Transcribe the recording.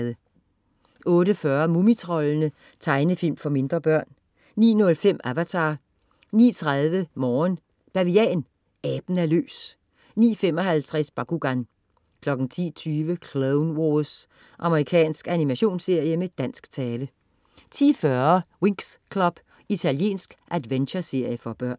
08.40 Mumitroldene. Tegnefilm for mindre børn 09.05 Avatar 09.30 Morgen Bavian. Aben er løs! 09.55 Bakugan 10.20 Clone Wars. Amerikansk animationsserie med dansk tale 10.40 Winx Club. Italiensk adventureserie for børn